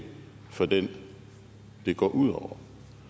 for dem det går ud over